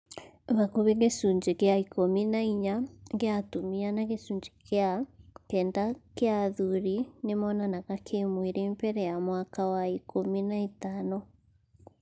Hakuhĩ gĩcunjĩ gĩa ikũmi na inya gĩa atumia na gĩcunjĩ gĩa kenda kĩa athuri nĩmonanaga kĩmwĩrĩ mbere ya mwaka wa ikũmi na ĩtano